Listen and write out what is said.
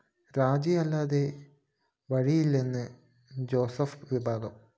രാജിയല്ലാതെ വഴിയില്ലെന്ന് ജോസഫ് വിഭാഗം